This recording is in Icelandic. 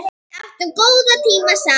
Við áttum góða tíma saman